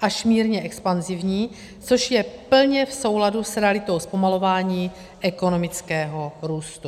až mírně expanzivní, což je plně v souladu s realitou zpomalování ekonomického růstu.